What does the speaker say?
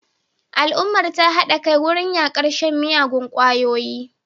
Al'ummar ta hada kai wurin yakar shan miyagun kwayoyi